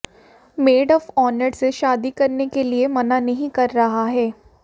made of honour से शादी करने के लिए मना नहीं कर रहा है